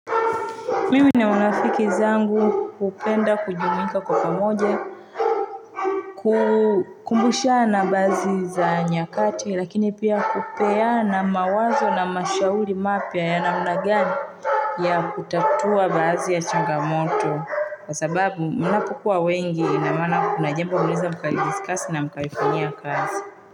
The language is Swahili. Mim na marafiki zangu hupenda kujumuika kwa pamoja, kukumbusha na baadhi za nyakati, lakini pia kupeana mawazo na mashauri mapya ya namna gani ya kutatua baadhi ya changamoto. Kwa sababu mnapokuwa wengi na maana kuna jambo mnaeza mkai discuss na mkaifanyia kazi.